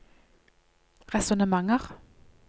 resonnementer